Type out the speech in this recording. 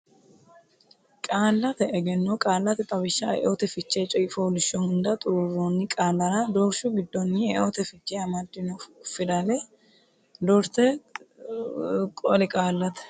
Qaallate Egenno Qaallate Xawishshanna Eote Fiche coy fooliishsho hunda xuruurroonni qaallara doorshu giddonni eote fiche amaddino fidale doorte qoli Qaallate.